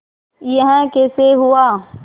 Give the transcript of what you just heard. यह कैसे हुआ